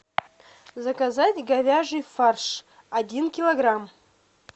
заказать говяжий фарш один килограмм